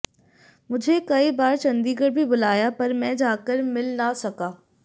मुझे कई बार चंडीगढ भी बुलाया पर मैं जाकर मिल ना सका